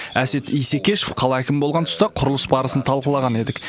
әсет исекешев қала әкімі болған тұста құрылыс барысын талқылаған едік